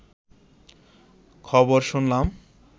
খবর শুনলাম